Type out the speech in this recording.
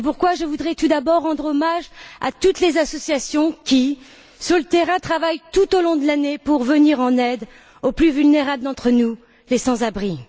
Je voudrais tout d'abord rendre hommage à toutes les associations qui, sur le terrain, travaillent tout au long de l'année pour venir en aide aux plus vulnérables d'entre nous, les sans abri.